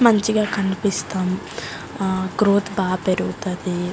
మంచిగా కనిపిస్తాం గ్రోత్ బాగా పెరుగుతది.